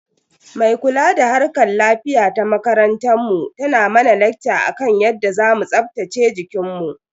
Mai kula da harkar lafiya ta makarantar mu tana mana lakca akan yadda zamu tsaftace jikinmu.